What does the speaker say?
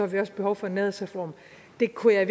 vi også behov for en nærhedsreform det kunne jeg